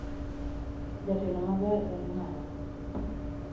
Jatelo maber en ng'awa?